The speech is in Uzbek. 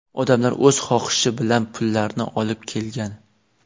Odamlar o‘z xohishi bilan pullarni olib kelgan.